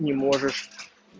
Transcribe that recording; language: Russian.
не можешь